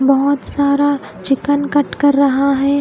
नहोत सारा chicken cut कर रहा है।